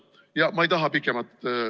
Ja ma ei taha pikemalt ...